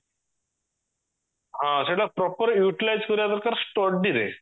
ହଁ ସେଇଟା proper utilise କରିବା ଦରକାର study ରେ